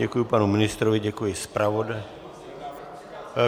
Děkuji panu ministrovi, děkuji zpravodaji.